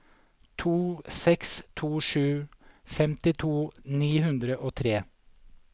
to seks to sju femtito ni hundre og tre